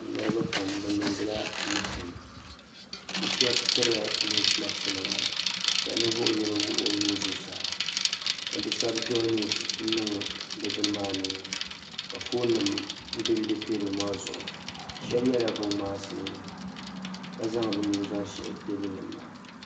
Niribi pam bɛ niŋdi la miitin bɛ shɛbi pirila noosi maksinima ka ninvuɣu yino wuhi o nuu ka bi sabi joyi niiwus n n niŋ bini maa ni ka fonim benbe teebuli maa zuɣu shɛbi yela binŋmaasi ka zaŋ bɛ nuhi shihi teebuli niŋ maa.